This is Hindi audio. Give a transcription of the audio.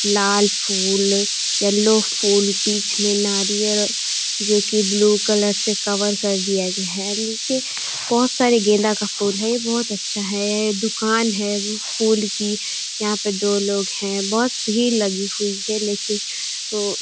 लाल फूल येलो फूल बीच में नारियल जोकि ब्लू कलर से कवर कर दिया गया है। नीचे बोहोत सारे गेंदा का फूल हैं। बोहोत अच्छा है। दुकान है फूल की। यहाँ पे दो लोग हैं। बोहोत भीड़ लगी हुई है लेकिन ओ --